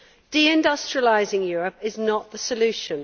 De industrialising Europe is not the solution.